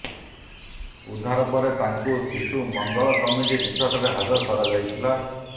ଉଦ୍ଧାର ପରେ ତାଙ୍କୁ ଶିଶୁ ମଙ୍ଗଳ କମିଟି ନିକଟରେ ହାଜର କରାଯାଇଥିଲା